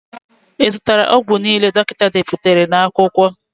I zụtara ọgwụ niile dọkịta deputara n'akwụkwọ?